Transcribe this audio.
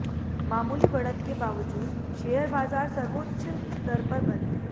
मामूली बढ़त के बाबजूद शेयर बाजार सर्वोच्च स्तर पर बंद